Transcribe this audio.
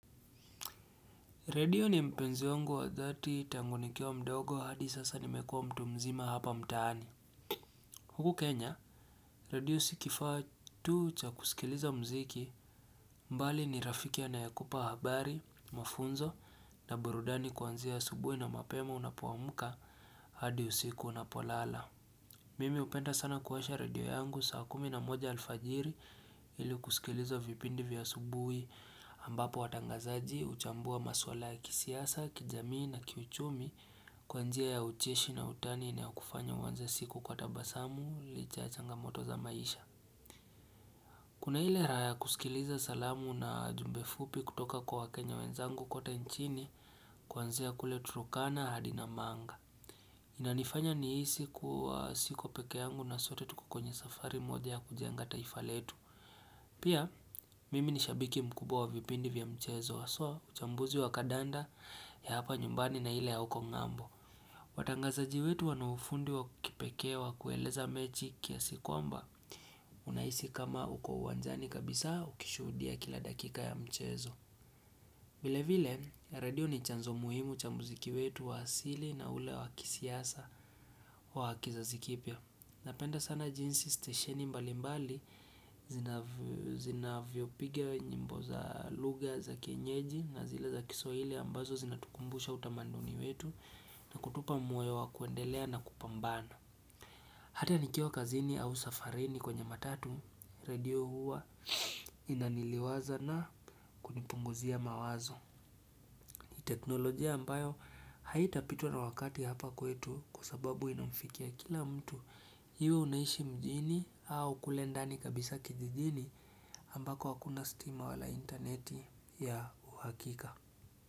Redio ni mpenzi wangu wa dhati tangu nikiwa mdogo hadi sasa nimekua mtu mzima hapa mtaani. Huku Kenya, redio sikifaa tu cha kusikiliza mziki bali ni rafiki anayekupa habari, mafunzo na burudani kuanzia asubuhi na mapema unapoamka hadi usiku unapolala Mimi hupenda sana kuwasha redio yangu saa kumi na moja alfajiri ili kusikiliza vipindi vya asubuhi ambapo watangazaji huchambua maswala ya kisiasa, kijamii na kiuchumi kwa njia ya ucheshi na utani na ya kufanya uanze siku kwa tabasamu licha ya changa moto za maisha. Kuna ile raha kusikiliza salamu na jumbe fupi kutoka kwa wakenya wenzangu kote nchini kwanzia kule turkana hadi namanga. Inanifanya nihisi kuwa siko pekee yangu na sote tukokwenye safari moja ya kujenga taifaletu. Pia mimi ni shabiki mkubwa wa vipindi vya mchezo haswa uchambuzi wa kadanda ya hapa nyumbani na ile ya huko ng'ambo. Watangazaji wetu wanaufundi wa kipekee wa kueleza mechi kiasi kwamba unahisi kama uko uwanjani kabisa ukishudia kila dakika ya mchezo. Vile vile, redio ni chanzo muhimu cha muziki wetu wa asili na ule wakisiasa wa kizazi kipya. Napenda sana jinsi stesheni mbali mbali zina vyopiga nyimbo za lugha za kienyeji na zile za kiswahili ambazo zinatukumbusha utamanduni wetu na kutupa moyo wa kuendelea na kupambana. Hata nikiwa kazini au safarini kwenye matatu, redio huwa inaniliwaza na kunipunguzia mawazo. Teknolojia ambayo haitapitwa na wakati hapa kwetu kwa sababu ina mfikia kila mtu. Iwe unaishi mjini au kule ndani kabisa kijijini ambako hakuna stima wala interneti ya uhakika.